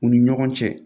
U ni ɲɔgɔn cɛ